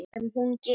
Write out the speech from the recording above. Sem hún gerir.